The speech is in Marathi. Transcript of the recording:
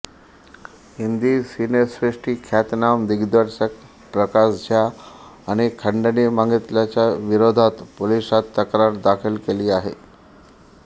हिंदी सिनेसृष्टी ख्यातनाम दिग्दर्शक प्रकाश झा यांनी खंडणी मागितल्याच्या विरोधात पोलिसात तक्रार दाखल केली आहे